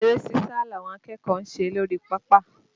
Eré sísa làwọn akẹ́kọ̀ọ́ ń ṣe lórí pápá